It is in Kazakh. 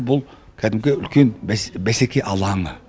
бұл кәдімгі үлкен бәсеке алаңы